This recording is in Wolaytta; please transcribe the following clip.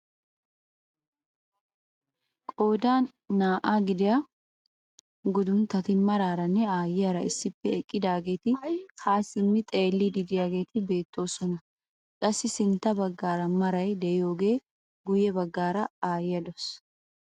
Qoodan naa"aa gidiyaa gunduntatti maraaranne ayiyaara issippe eqqidaageti ha simmi xeelliidi de'iyaageti beettoosona. qassi sintta baggaara maray de'iyoode guye baggaara ayiyaa de'awus.